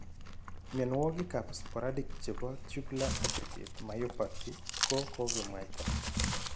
Mionwagik ab sporadic chebo tubular aggregate myopathy ko kogemwaita